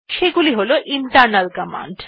সেগুলি হল internal command